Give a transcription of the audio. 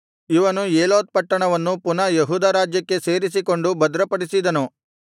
ಇವನು ಏಲೋತ್ ಪಟ್ಟಣವನ್ನು ಪುನಃ ಯೆಹೂದ ರಾಜ್ಯಕ್ಕೆ ಸೇರಿಸಿಕೊಂಡು ಭದ್ರಪಡಿಸಿದನು